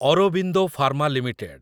Aurobindo pharma limited